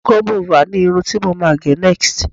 comb over ni Irun ti mo ma gé next